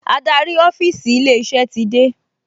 Adarí ọ́fíìsì ilé-iṣẹ́ ti dé